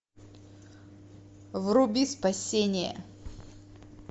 вруби спасение